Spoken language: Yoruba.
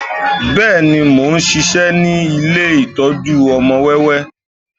Bẹ́ẹ̀ni, mo ń ṣiṣẹ́ ní ilé ìtọ́jú ọmọ wẹ́wẹ́